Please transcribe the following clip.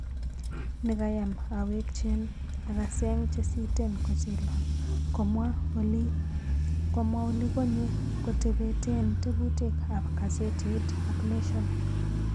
Nikayom aweyken, akaseng chesiten kochilon."komwa olikonye koketepen teputik ak gazetit ap nation.